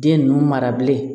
Den ninnu mara bilen